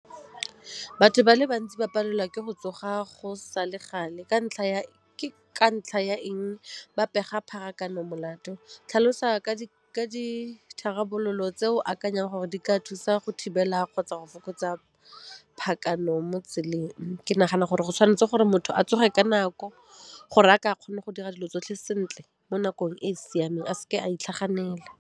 Batho ba le bantsi ba palelwa ke go tsoga go sa le gale , ke ka ntlha ya eng ba pega pharakano molato? Tlhalosa ka ditharabololo tse o akanyang gore di ka thusa go thibela kgotsa go fokotsa mo tseleng. Ke nagana gore go tshwanetse gore motho a tsoge ka nako gore a ke a kgone go dira dilo tsotlhe sentle mo nakong e e siameng, a seke a itlhaganela.